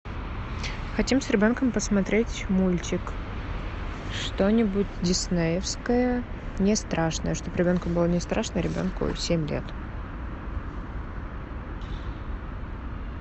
хотим с ребенком посмотреть мультик что нибудь диснеевское не страшное чтобы ребенку было не страшно ребенку семь лет